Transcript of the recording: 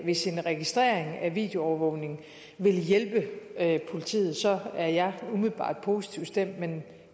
hvis en registrering af videoovervågning vil hjælpe politiet så er jeg umiddelbart positivt stemt men